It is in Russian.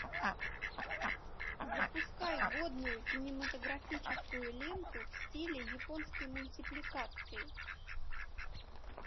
запускай годную кинематографическую ленту в стиле японской мультипликации